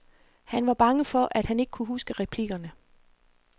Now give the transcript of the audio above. Han var bange for, at han ikke kunne huske replikkerne.